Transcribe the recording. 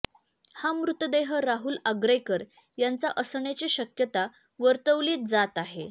हा मृतदेह राहुल आग्रेकर यांचा असण्याची शक्यता वर्तवला जात आहे